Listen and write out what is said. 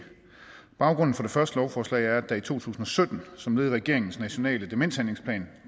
baggrunden for det første lovforslag er at der i to tusind og sytten som led i regeringens nationale demenshandlingsplan